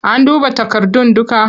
An duba takardun dukka?